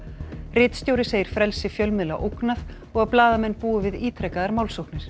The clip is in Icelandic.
ritstjóri segir frelsi fjölmiðla ógnað og að blaðamenn búi við ítrekaðar málsóknir